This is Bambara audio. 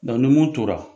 ni mun tora